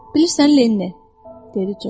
Bilirsən, Lenni, dedi Corc.